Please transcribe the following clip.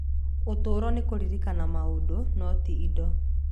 Ũtũũro nĩ kũririkana maũndũ, no ti indo.